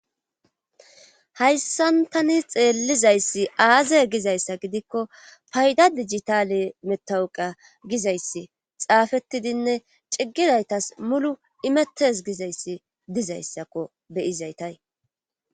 Hayssan tani xeellizayssi aaza gizayssa gidikko payda dijitale metawuqa gizayssi xaafettidinne ciggizaytas mulu imettes gizayssi dizayssakko beyizaytay